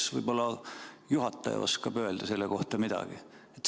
Kas võib-olla juhataja oskab öelda selle kohta midagi?